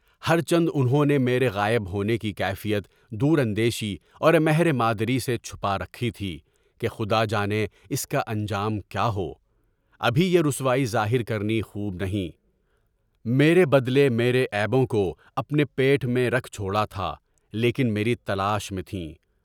ہرچند انہوں نے میرے غائب ہونے کی کیفیت دور اندیشی اور مہر مادری سے چھپائی تھی کہ خدا جانے اس کا انجام کیا ہو، ابھی یہ رسوائی ظاہر کرنی خوب نہیں، میرے بدلے میرے عیبوں کو اپنے پیٹ میں رکھ چھوڑا تھا، لیکن میری تلاش میں تھیں۔